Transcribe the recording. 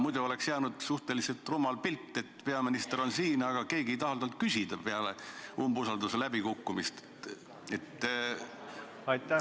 Muidu oleks jäänud suhteliselt rumal pilt, et peaminister on siin, aga peale umbusalduse läbikukkumist ei taha keegi temalt midagi küsida.